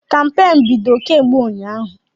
Kampeenụ́ bido kemgbe ụnyaahụ.